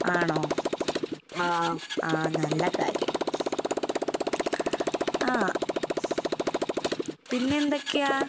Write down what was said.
ആണോ? ആഹ് നല്ല കാര്യം. ആഹ് പിന്നെന്തൊക്കെയാ?